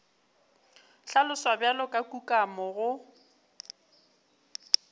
hlaloswa bjalo ka kukamo go